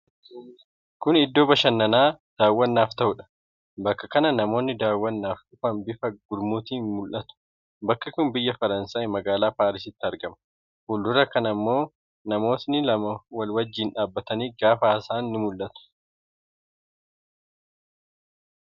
Kun iddoo bashannanaa daawwannaaf ta'udha. Bakka kana namoonni daawwannaaf dhufan bifa gurmuutiin mul'atu. Bakki kun biyya Faransaayi magaalaa Paarisitti argama . Fuuldura kana ammoo namooti lama walii wajjin dhaabbatanii gaafa haasa'an mul'atu.